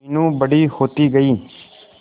मीनू बड़ी होती गई